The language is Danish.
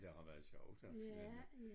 Det har været sjovt også inte